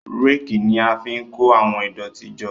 Réèkì ni a fi ń kó àwọn ìdọ̀tí jọ.